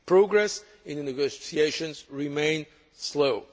Progress in the negotiations remains slow.